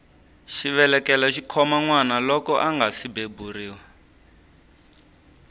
xivelekelo xikhoma nwana loko angasi beburiwa